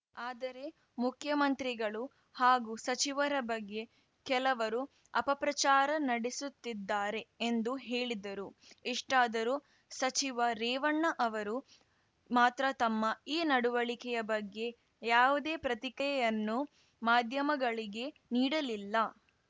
ಆದರೆ ಮುಖ್ಯಮಂತ್ರಿಗಳು ಹಾಗೂ ಸಚಿವರ ಬಗ್ಗೆ ಕೆಲವರು ಅಪಪ್ರಚಾರ ನಡೆಸುತ್ತಿದ್ದಾರೆ ಎಂದು ಹೇಳಿದರು ಇಷ್ಟಾದರೂ ಸಚಿವ ರೇವಣ್ಣ ಅವರು ಮಾತ್ರ ತಮ್ಮ ಈ ನಡುವಳಿಕೆ ಬಗ್ಗೆ ಯಾವುದೇ ಪ್ರತಿಕ್ರಿಯೆಯನ್ನು ಮಾಧ್ಯಮಗಳಿಗೆ ನೀಡಲಿಲ್ಲ